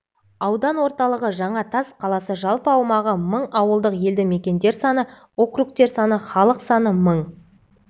аудан орталығы жаңатас қаласы жалпы аумағы мың ауылдық елді мекендер саны округтер саны халық саны мың